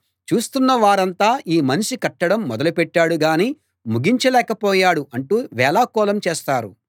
చూస్తున్న వారంతా ఈ మనిషి కట్టడం మొదలు పెట్టాడు గానీ ముగించ లేకపోయాడు అంటూ వేళాకోళం చేస్తారు